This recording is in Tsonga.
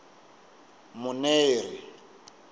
muneri